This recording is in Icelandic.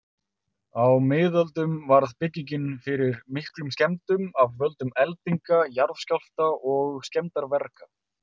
Á miðöldum varð byggingin fyrir miklum skemmdum af völdum eldinga, jarðskjálfta og skemmdarverka.